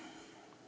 Aitäh!